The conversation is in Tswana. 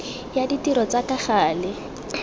ya ditiro tsa ka gale